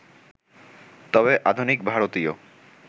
তবে আধুনিক ভারতীয়